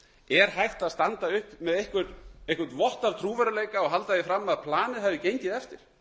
er hægt að standa uppi með einhvern vott af trúverðugleika og halda því fram að planið hafi gengið eftir